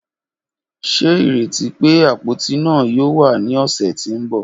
Ṣe ireti pe apoti naa yoo wa ni ọsẹ ti n bọ?